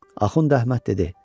Axund Əhməd dedi: